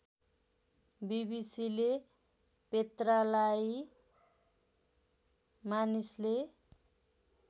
बीबीसीले पेत्रालाई मानिसले